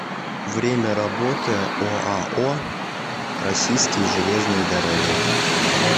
время работы оао российские железные дороги